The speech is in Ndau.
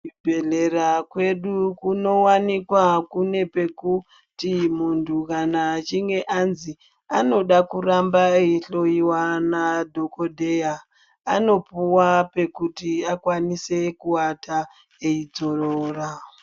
Ku zvibhedhlera kwedu kuno wanikwa kune pekuti muntu kana achinge anzi anoda kuramba eyi hloyiwa na dhokodheya anopuwa pekuti akwanise ku ata eyi dzorora.